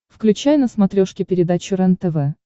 включай на смотрешке передачу рентв